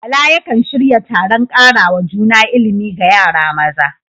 Bala yakan shirya taron karawa juna ilimi ga yara maza.